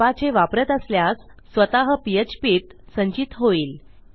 Apache वापरत असल्यास स्वतः phpत संचित होईल